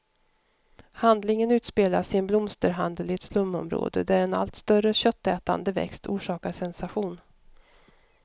Handlingen utspelas i en blomsterhandel i ett slumområde, där en allt större köttätande växt orsakar sensation.